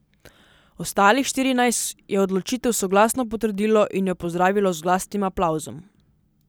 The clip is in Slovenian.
Ostalih štirinajst je odločitev soglasno potrdilo in jo pozdravilo z glasnim aplavzom.